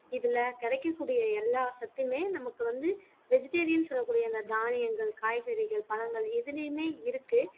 இதுல கரைக்கக்கூடிய எல்லா சத்துமே நமக்கு வந்து vegetarian சொல்லக்கூடிய அந்த தானியங்கள், காய்கறிகள், பழங்கள் எதுலையுமே இருக்கு